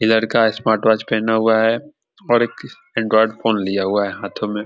ई लड़का smart watch पहना हुआ है और एक एंड्राइड फोन लिया हुआ है हाथों में।